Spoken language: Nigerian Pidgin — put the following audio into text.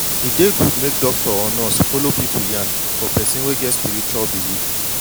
e dey good make doctor or nurse follow pipu yan for person wey get spiritual believe